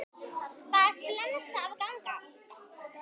Það er flensa að ganga.